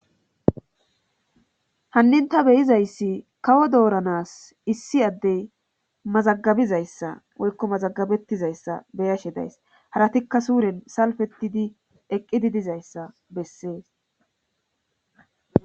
hannin ta beyizayssi kawo dooranas issi addey mazagabizayssa woykko mazagabettizayssa beyashe days haratikka suuren salfetidi eqqidi dizayssa bessees